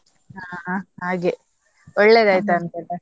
ಹಾ ಹಾಗೆ, ಒಳ್ಳೆದಾಯ್ತ ಅಂತ ಅಲ್ಲ.